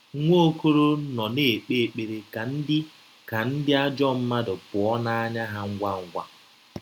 Nwaokolo nọ na - ekpe ekpere ka ndị ka ndị ajọ mmadụ pụọ n’anya ha ngwa ngwa.